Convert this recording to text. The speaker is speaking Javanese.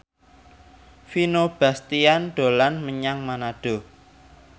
Vino Bastian dolan menyang Manado